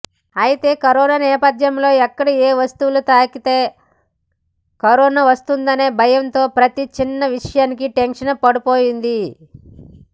అయితే కరోనా నేపథ్యంలో ఎక్కడ ఏ వస్తువులు తాకితే కరోనా వస్తుందనే భయంతో ప్రతి చిన్న విషయానికి టెన్షన్ పడిపోయింది